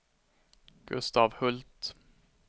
Gustaf Hult